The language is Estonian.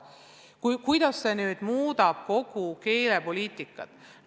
Kuidas see muudab kogu keelepoliitikat?